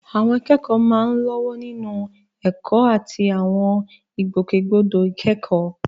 Àwọn akẹ́kọ̀ọ́ máa ń lọ́wọ́ nínú ẹ̀kọ́ àti àwọn ìgbòkègbodò ìkẹ́kọ̀ọ́.